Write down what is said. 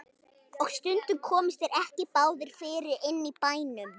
Og stundum komust þeir ekki báðir fyrir inni í bænum.